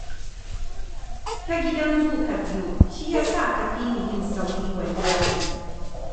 Ta Gidan Zu ka biyo, shi ya sa ka fi ni yin sauri wallahi